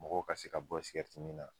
Mɔgɔw ka se ka bɔ sigɛriti min na